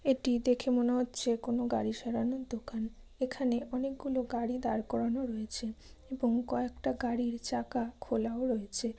এটি দেখে মনে হচ্ছে কোনো গাড়ি সারানোর দোকান। এখানে অনেকগুলো গাড়ি দার করানো রয়েছে এবং কয়েকটা গাড়ির চাকা খোলাও রয়েছে।